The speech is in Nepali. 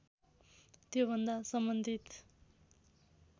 त्योभन्दा सम्बन्धित